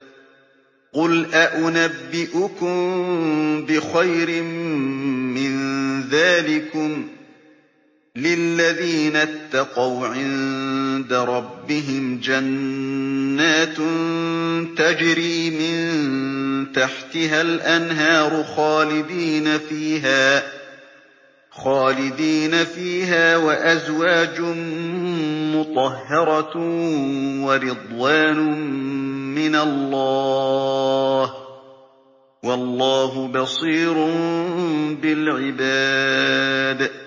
۞ قُلْ أَؤُنَبِّئُكُم بِخَيْرٍ مِّن ذَٰلِكُمْ ۚ لِلَّذِينَ اتَّقَوْا عِندَ رَبِّهِمْ جَنَّاتٌ تَجْرِي مِن تَحْتِهَا الْأَنْهَارُ خَالِدِينَ فِيهَا وَأَزْوَاجٌ مُّطَهَّرَةٌ وَرِضْوَانٌ مِّنَ اللَّهِ ۗ وَاللَّهُ بَصِيرٌ بِالْعِبَادِ